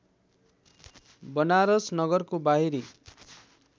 वनारस नगरको बाहिरी